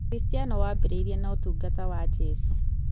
ũkristiano wambĩrĩirie na ũtungata wa Jesũ